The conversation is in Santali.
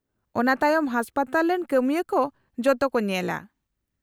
-ᱚᱱᱟ ᱛᱟᱭᱚᱢ ᱦᱟᱥᱯᱟᱛᱟᱞ ᱨᱮᱱ ᱠᱟᱹᱢᱤᱭᱟᱹ ᱠᱚ ᱡᱚᱛᱚ ᱠᱚ ᱧᱮᱞᱟ ᱾